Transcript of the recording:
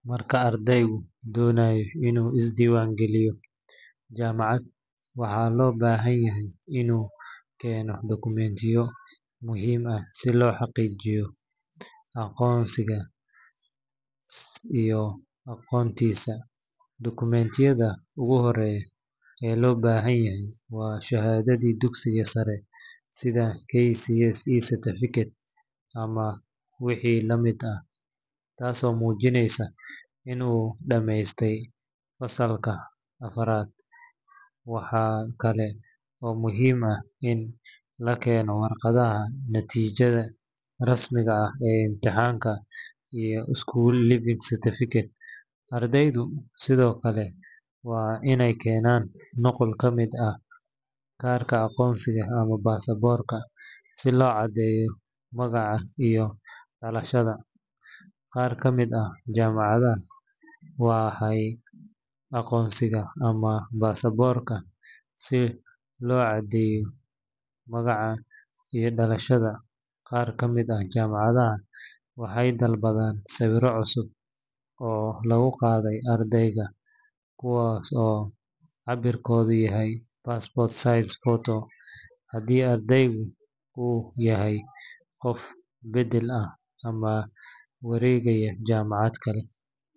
Marka ardaygu doonayo inuu isdiiwaangeliyo jaamacad, waxaa loo baahan yahay inuu keeno dukumiintiyo muhiim ah si loo xaqiijiyo aqoonsigiisa iyo aqoontiisa. Dukumiintiyada ugu horreeya ee loo baahan yahay waa shahaadadii dugsiga sare, sida KCSE certificate ama wixii la mid ah, taasoo muujinaysa in uu dhammeystay fasalka afaraad. Waxaa kale oo muhiim ah in la keeno warqadda natiijada rasmiga ah ee imtixaanka iyo school leaving certificate. Ardaydu sidoo kale waa inay keenaan nuqul ka mid ah kaarka aqoonsiga ama baasaboorka si loo caddeeyo magaca iyo dhalashada. Qaar ka mid ah jaamacadaha waxay dalbadaan sawirro cusub oo laga qaaday ardayga, kuwaas oo cabbirkoodu yahay passport size photo. Haddii ardaygu uu yahay qof beddel ah ama wareegaya jaamacad kale.